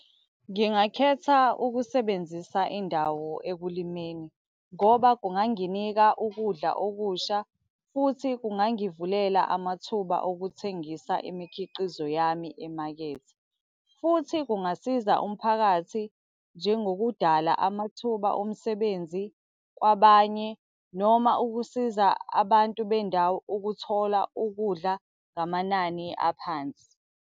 Ngingakhetha ukusebenzisa indawo ekulimeni ngoba kunganginika ukudla okusha, futhi kungangivulela amathuba okuthengisa imikhiqizo yami emakethe. Futhi kungasiza umphakathi njengokudala amathuba omsebenzi kwabanye, noma ukusiza abantu bendawo ukuthola ukudla ngamanani aphansi.